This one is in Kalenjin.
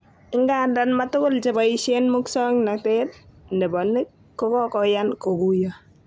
Igandan matugul cheboishen musoknotet nebo nik kokoyan koguyo.